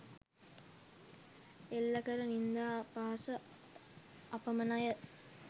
එල්ල කළ නින්දා අපහාස අපමණය.